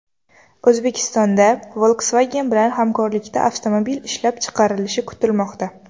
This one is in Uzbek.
O‘zbekistonda Volkswagen bilan hamkorlikda avtomobil ishlab chiqarilishi kutilmoqda.